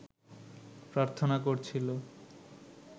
প্রার্থনা করছিল